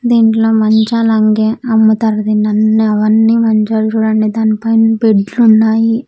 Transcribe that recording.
దీంట్లో మంచాలంగి అమ్ముతారు దీన్ని అన్నీ అవన్నీ మంచాలు చూడండి దానిపైన బెడ్ లున్నాయి.